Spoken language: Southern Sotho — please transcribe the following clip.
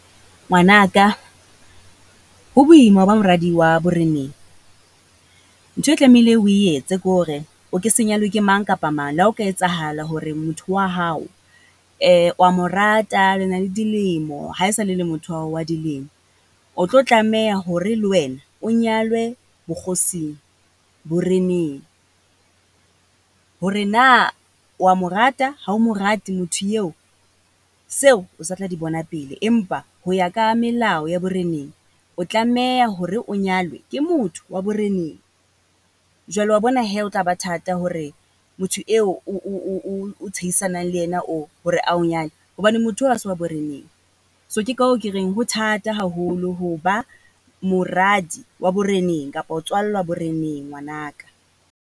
Ngwana ka ho boima ho ba moradi wa boreneng. Ntho e tlamehile o etse ko hore, o ke se nyalwe ke mang kapa mang, la ho ka etsahala hore motho wa hao wa mo rata le na le dilemo. Ha e sale le motho wa hao wa dilemo. O tlo tlameha hore le wena o nyalwe bokgosing, boreneng. Hore na wa mo rata, ha o mo rate motho yeo, seo o sa tla di bona pele. Empa ho ya ka melao ya boreneng o tlameha hore o nyalwe ke motho wa boreneng. Jwale wa bona he, ho tla ba thata hore motho eo o tshehisanang le ena oo hore a o nyale, hobane motho eo ha se wa boreneng. So ke ko hoo ke reng ho thata haholo ho ba moradi wa boreneng kapa ho tswallwa boreneng ngwana ka.